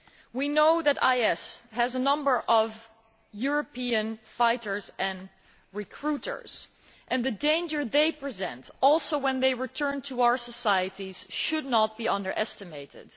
We know that IS has a number of European fighters and recruiters and the danger they will present too when they return to our societies should not be underestimated.